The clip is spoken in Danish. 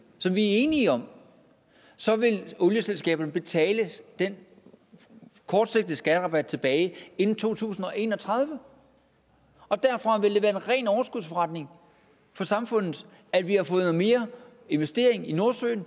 som vi er enige om så vil det olieselskaberne vil betale den kortsigtede skatterabat tilbage inden to tusind og en og tredive derfra vil det være en ren overskudsforretning for samfundet at vi har fået mere investering i nordsøen og